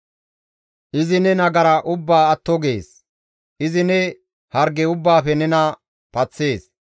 Izi ne nagara ubbaa atto gees; izi ne harge ubbaafe nena paththees.